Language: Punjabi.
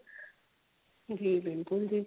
ਜੀ ਬਿਲਕੁਲ ਜੀ